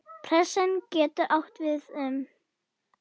Pressan getur átt við um